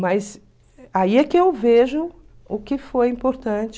Mas aí é que eu vejo o que foi importante.